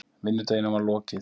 Vinnudeginum var lokið.